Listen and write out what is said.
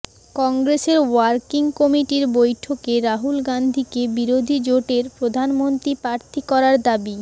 কংগ্রেসের ওয়ার্কিং কমিটির বৈঠকে রাহুল গাঁধীকে বিরোধী জোটের প্রধানমন্ত্রী প্রার্থী করার দাবি